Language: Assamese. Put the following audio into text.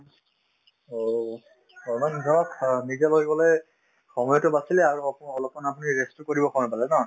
অ, অলমানধৰক অ নিজে লৈ গলে সময়তো বাচিলে আৰু অপ অলপমান আপুনি rest ও কৰিব সময় পালে ন